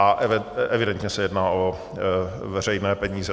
A evidentně se jedná o veřejné peníze.